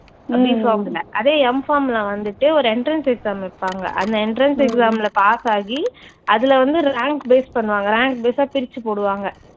BPharm ன்னா அதே MPharm ன்னா வந்துட்டு ஒரு entrance exam வைப்பாங்க. அந்த entrance exam ல pass ஆகி அதுல வந்து rank base பண்ணுவாங்க, rank base ஆ பிரிச்சு போடுவாங்க